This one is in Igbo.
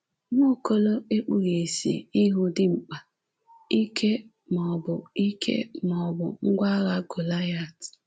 Nwaokolo ekpughị isi ịhụ dimkpa, ike maọbụ ike maọbụ ngwa agha Golịat